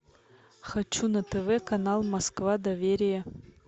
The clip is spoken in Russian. хочу на тв канал москва доверие